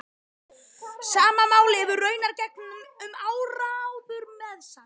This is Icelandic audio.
Sama máli hefði raunar gegnt um áróður meðal